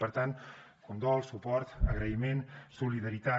per tant condol suport agraïment solidaritat